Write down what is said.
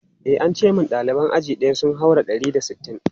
E, an ce min ɗaliban aji ɗaya sun haura ɗari da sittin.